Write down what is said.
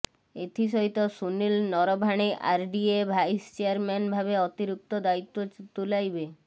ଏଥିସହିତ Sunil Naravane RDA vice chairman ଭାବେ ଅତିରିକ୍ତ ଦାୟିତ୍ୱ ତୁଲାଇବେ